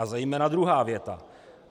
A zejména druhá věta.